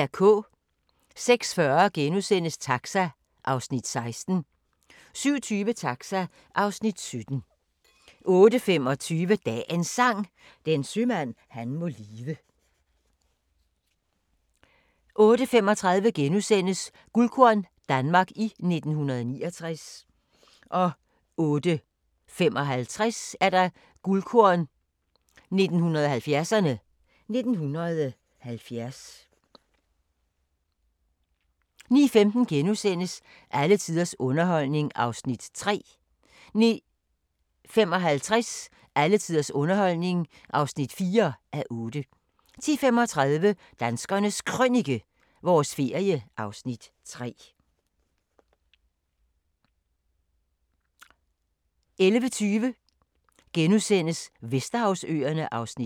06:40: Taxa (Afs. 16)* 07:20: Taxa (Afs. 17) 08:25: Dagens Sang: Den sømand han må lide 08:35: Guldkorn - Danmark i 1969 * 08:55: Guldkorn 1970'erne: 1970 09:15: Alle tiders underholdning (3:8)* 09:55: Alle tiders underholdning (4:8) 10:35: Danskernes Krønike – vores ferie (Afs. 3) 11:20: Vesterhavsøerne (Afs. 5)*